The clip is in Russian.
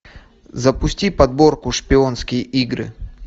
запусти подборку шпионские игры